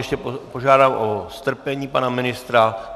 Ještě požádám o strpení pana ministra.